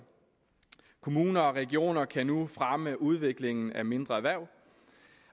kommuner og regioner kan nu fremme udviklingen af mindre erhverv